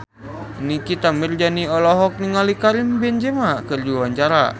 Nikita Mirzani olohok ningali Karim Benzema keur diwawancara